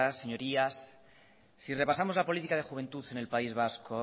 señorías si repasamos la política de juventud en el país vasco